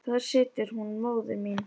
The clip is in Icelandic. þar situr hún móðir mín